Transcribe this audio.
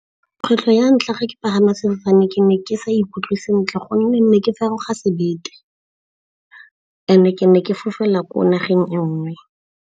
Kgwetlho ya ntlha ke pagama sefofane ke ne ke sa ikutlwe sentle gonne ke feroga sebete, and-e ke ne ke fofela ko nageng e nngwe.